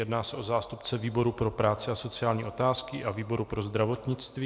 Jedná se o zástupce výboru pro práci a sociální otázky a výboru pro zdravotnictví.